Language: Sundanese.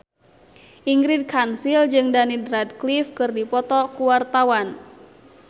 Ingrid Kansil jeung Daniel Radcliffe keur dipoto ku wartawan